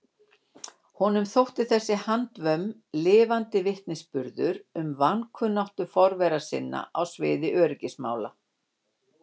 Honum þótti þessi handvömm lifandi vitnisburður um vankunnáttu forvera sinna á sviði öryggismála.